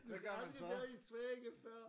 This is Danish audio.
Du har aldrig været i Sverige før!